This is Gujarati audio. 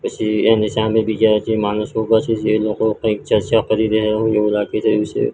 પછી એની સામે બીજા જે માણસો ઊભા છે જે લોકો કઈક ચર્ચા કરી રહ્યા હોય એવુ લાગી રહ્યુ છે.